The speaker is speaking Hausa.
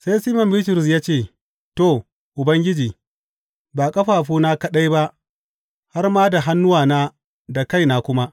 Sai Siman Bitrus ya ce, To, Ubangiji, ba ƙafafuna kaɗai ba har ma da hannuwana da kaina kuma!